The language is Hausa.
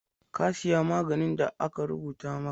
Ka siya maganin da aka rubuta maka?